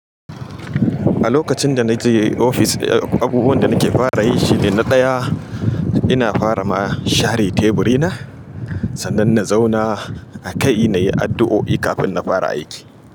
A lokacin da na je ofis, abubuwan da nake fara yin shi ne na ɗaya, ina fara ma share teburi na sannan na zauna a kai na yi addu'o'i kafin na fara aiki.